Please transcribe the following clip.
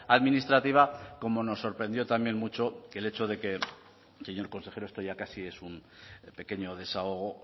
administrativa como nos sorprendió también mucho el hecho de que señor consejero esto ya casi es un pequeño desahogo